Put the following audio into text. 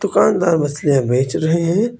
दुकानदार मछलियां बेच रहे हैं।